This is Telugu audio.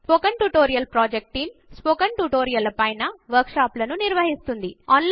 spoken tutorial project team spoken tutorial ల పైన వర్క్ షాప్ లు నిర్వహిస్తుంది